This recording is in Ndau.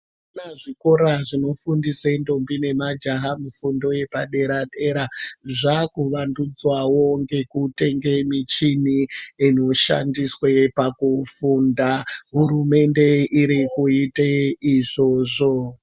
Tinoona zvikora zvinofundisa ntombi nemajaha kufundo yepadera dera zvakuvandudzawo nekutenge michini inoshandiswe pakufunda. Hurumende iri kuite izvozvo.